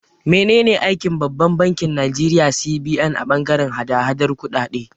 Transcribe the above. Menene aikin Babban bankin Nigeria (CBN) a bangaren hada-hadar kuɗaɗe?